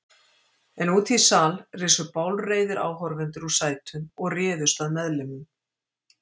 En úti í sal risu bálreiðir áhorfendur úr sætum og réðust að meðlimum